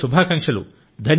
మీకు శుభాకాంక్షలు